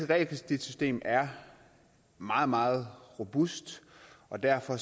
realkreditsystem er meget meget robust og derfor